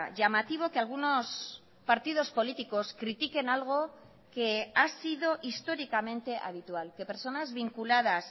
llamativo que algunos partidos políticos critiquen algo que ha sido históricamente habitual que personas vinculadas